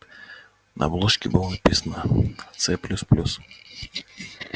на обложке было написано ц плюс плюс